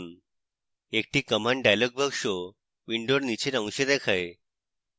একটি command dialog box window নীচের অংশে দেখায়